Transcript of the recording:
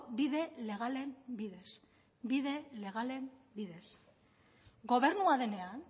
bide legalen bidez bide legalen bidez gobernua denean